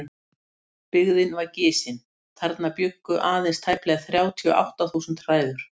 Byggðin var gisin, þarna bjuggu aðeins tæplega þrjátíu og átta þúsund hræður.